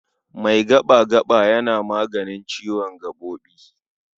Mai gaɓa-gaɓa yana maganin ciwon gaɓoɓi.